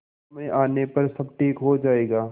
समय आने पर सब ठीक हो जाएगा